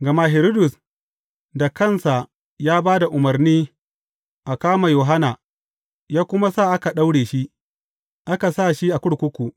Gama Hiridus da kansa ya ba da umarni a kama Yohanna, ya kuma sa aka daure shi, aka sa shi a kurkuku.